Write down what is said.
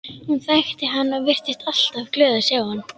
Hún þekkti hann og virtist alltaf glöð að sjá hann.